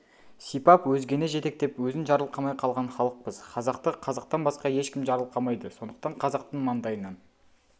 сипап өзгені жетектеп өзін жарқылқамай қалған халықпыз қазақты қазақтан басқа ешкім жарылқамайды сондықтан қазақтың маңдайынан